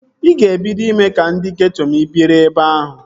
Ị ga-ebido ime ka ndị geeto ma ị biri ebe ahụ